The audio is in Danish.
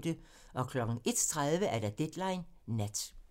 01:30: Deadline Nat